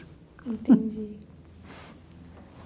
Entendi.